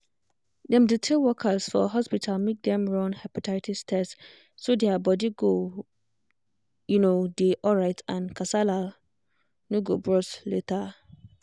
dem dey tell workers for hospital make dem run hepatitis test so their body go um dey alright and kasala no go burst later.